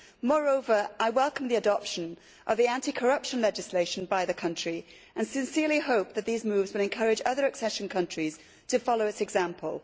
Moreover, I welcome the adoption of the anti corruption legislation by the country and sincerely hope that these moves will encourage other accession countries to follow its example.